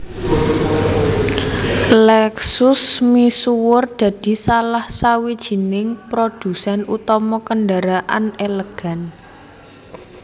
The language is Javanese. Lexus misuwur dadi salah sawijining prodhusèn utama kendaraan elegan